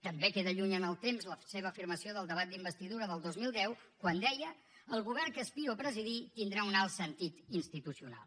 també queda lluny en el temps la seva afirmació del debat d’investidura del dos mil deu quan deia el govern que aspiro a presidir tindrà un alt sentit institucional